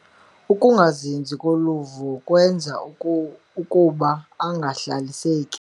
Ukungazinzi koluvo kwenza ukuba angahlaliseki.